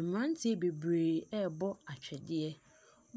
Mmeranteɛ bebree rebɔ atwedeɛ.